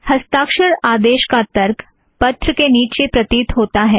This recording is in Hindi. हस्ताक्षर आदेश का तर्क पत्र के नीचे प्रतीत होता है